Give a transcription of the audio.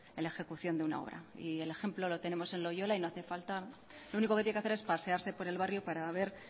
en la ejecución de una obra y el ejemplo lo tenemos en loiola y lo único que tiene que hacer es pasearse por el barrio para ver